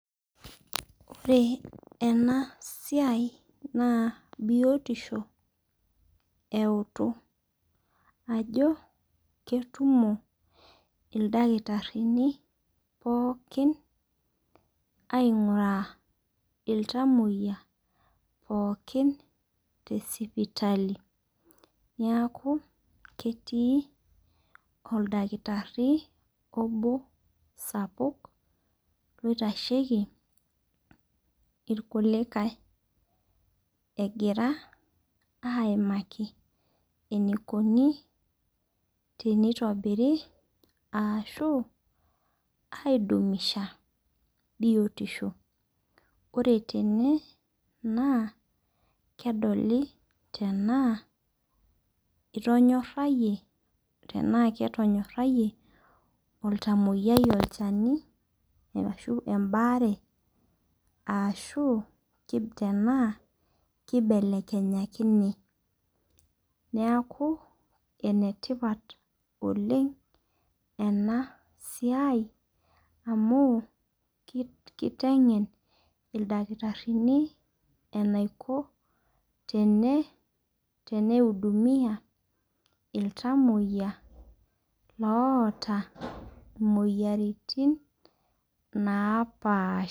Ore ena siai naa biotisho eutu. Ajo ketumo iltakitarini pookin aing'ura iltamoyia pookin te sipatali neeku keetiii oldakitari obo sapuk loitasheki irkulikae egira aimaki enikoni tenitobiri arashu aiidumisha biotisho. Ore tene naa kedoli tena itonyorayie tenaa ketonyorayie oltamoyiai olchani arshu ebare arashu tenaa kibelekenyakine neeku ene tipat oleng' ena siai amu kitengen ildakitarini eniku teneihudumia iktamoyia loota imoyiaritin napaasha.